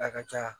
A ka ca